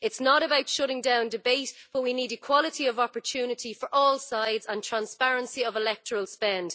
It is not about shutting down debate, but we need equality of opportunity for all sides and transparency of electoral spend.